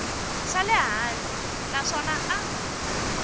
xa le hansi naswona a